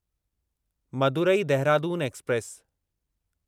Madurai Dehradun express